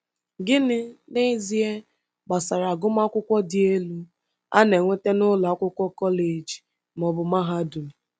Gịnị, n’ezie, gbasara agụmakwụkwọ dị elu, a na-enweta n’ụlọ akwụkwọ kọleji ma ọ bụ mahadum?